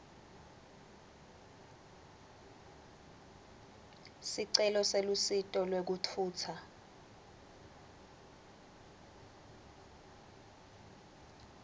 sicelo selusito lwekutfutsa